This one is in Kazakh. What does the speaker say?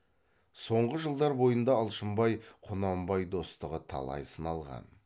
соңғы жылдар бойында алшынбай құнанбай достығы талай сыналған